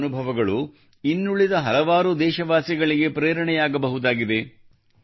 ನಿಮ್ಮ ಅನುಭವಗಳು ಇನ್ನುಳಿದ ಹಲವಾರು ದೇಶವಾಸಿಗಳಿಗೆ ಪ್ರೇರಣೆಯಾಗಬಹುದಾಗಿದೆ